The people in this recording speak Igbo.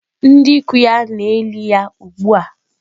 Ndị ikwu ya na-eli ya ugbu a.